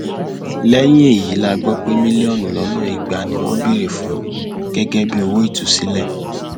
lẹyìn èyí la gbọ pé mílíọnù lọnà ìgbà ni wọn béèrè fún gẹgẹ bíi owó ìtúsílẹ